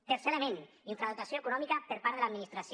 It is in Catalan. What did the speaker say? tercer element infradotació econòmica per part de l’administració